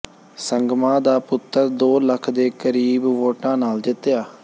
ਸੰਗਮਾ ਦਾ ਪੁੱਤਰ ਦੋ ਲੱਖ ਦੇ ਕਰੀਬ ਵੋਟਾਂ ਨਾਲ ਜਿੱਤਿਆ